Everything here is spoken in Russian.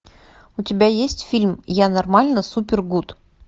у тебя есть фильм я нормально супер гуд